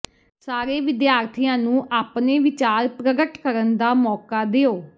ਸਾਰੇ ਵਿਦਿਆਰਥੀਆਂ ਨੂੰ ਆਪਣੇ ਵਿਚਾਰ ਪ੍ਰਗਟ ਕਰਨ ਦਾ ਮੌਕਾ ਦਿਓ